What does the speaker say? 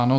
Ano.